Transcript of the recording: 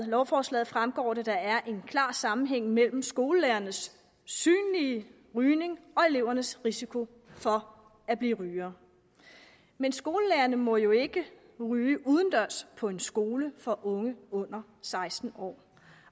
lovforslaget fremgår det at der er en klar sammenhæng mellem skolelærernes synlige rygning og elevernes risiko for at blive rygere men skolelærerne må jo ikke ryge udendørs på en skole for unge under seksten år